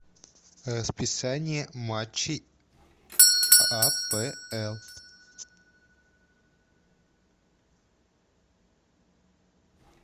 расписание матчей апл